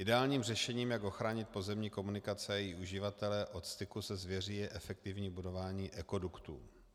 Ideálním řešením, jak ochránit pozemní komunikace a její uživatele od styku se zvěří, je efektivní budování ekoduktů.